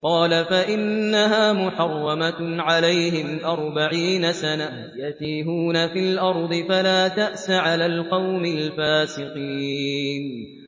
قَالَ فَإِنَّهَا مُحَرَّمَةٌ عَلَيْهِمْ ۛ أَرْبَعِينَ سَنَةً ۛ يَتِيهُونَ فِي الْأَرْضِ ۚ فَلَا تَأْسَ عَلَى الْقَوْمِ الْفَاسِقِينَ